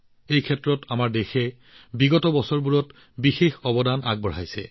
ইয়াৰ আঁৰত বিগত বছৰবোৰত দেশৰ বিশেষ অৱদানো আছে